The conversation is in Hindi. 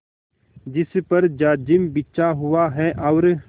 जिस पर जाजिम बिछा हुआ है और